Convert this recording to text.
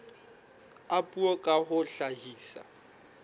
a puo ka ho hlahisa